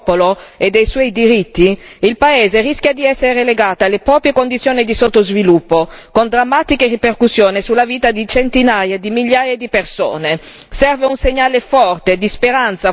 Senza il pieno rispetto della volontà del popolo e dei suoi diritti il paese rischia di essere relegato alle proprie condizioni di sottosviluppo, con drammatiche ripercussioni sulla vita di centinaia di migliaia di persone.